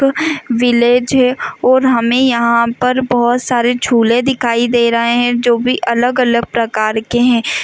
Village है और हमें यहां पर बहुत सारे झूले दिखाई दे रहे हैं जो भी अलग-अलग प्रकार के हैं।